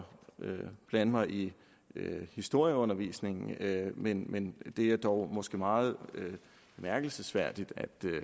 blande mig i historieundervisningen men men det er dog måske meget bemærkelsesværdigt